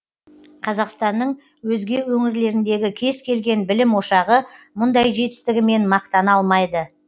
қазақстанның өзге өңірлеріндегі кез келген білім ошағы мұндай жетістігімен мақтана алмайды